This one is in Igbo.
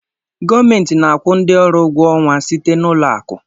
Gọọmentị na-akwụ ndị ọrụ ụgwọ ọnwa site n'ụlọ akụ.